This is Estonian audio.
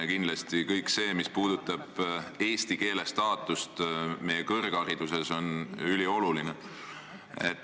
Ja kindlasti kõik see, mis puudutab eesti keele staatust meie kõrghariduses, on ülioluline.